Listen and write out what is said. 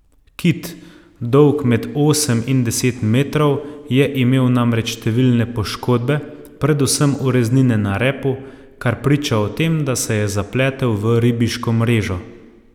Kit, dolg med osem in deset metrov, je imel namreč številne poškodbe, predvsem ureznine na repu, kar priča o tem, da se je zapletel v ribiško mrežo.